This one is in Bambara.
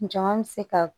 Jama bɛ se ka